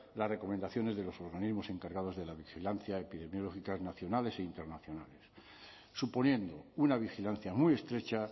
las recomendaciones de los organismos encargados de la vigilancia epidemiológica nacionales e internacionales suponiendo una vigilancia muy estrecha